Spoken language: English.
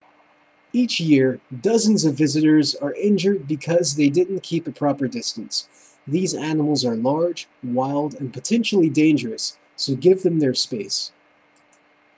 each year dozens of visitors are injured because they didn't keep a proper distance these animals are large wild and potentially dangerous so give them their space